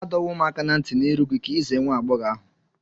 Adọwom aka na nti n'iru gi ka i ize nwa-ab͕ọghọ ahu